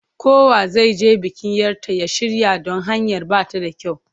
Kowa zai je bikin 'yar ta ya shirya don hanyar ba ta da kyau.